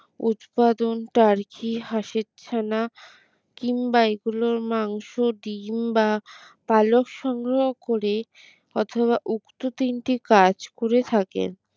উৎপাদন টার কি হাঁসের ছানা কিংবা এগুলোর মাংস ডিম বা পালক সংগ্রহ করে অথবা উক্ত তিনটি কাজ করে থাকেন।